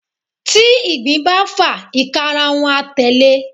tí igbín ba fa, ikarun a telé